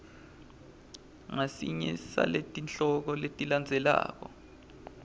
ngasinye saletihloko letilandzelako